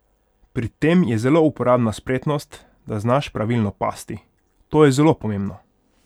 Pri tem je zelo uporabna spretnost, da znaš pravilno pasti: "To je zelo pomembno.